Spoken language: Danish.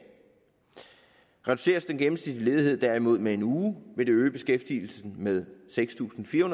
reduceres den gennemsnitlige ledighed derimod med en uge vil det øge beskæftigelsen med seks tusind fire